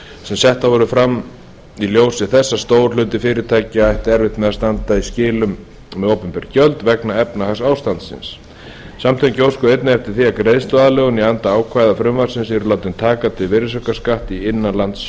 sem settar voru fram í ljósi þess að stór hluti fyrirtækja ætti erfitt með að standa í skilum með opinber gjöld vegna efnahagsástandsins samtökin óskuðu einnig eftir því að greiðsluaðlögun í anda ákvæða frumvarpsins yrði látin taka til virðisaukaskatts í